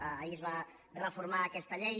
ahir es va reformar aquesta llei